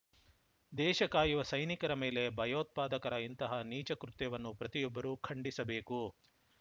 ದೇಶ ಕಾಯುವ ಸೈನಿಕರ ಮೇಲೆ ಭಯೋತ್ಪಾದಕರ ಇಂತಹ ನೀಚ ಕೃತ್ಯವನ್ನು ಪ್ರತಿಯೊಬ್ಬರೂ ಖಂಡಿಸಬೇಕು